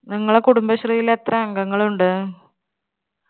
നിങ്ങളെ കുടുംബശ്രീൽ എത്ര അംഗങ്ങളുണ്ട്?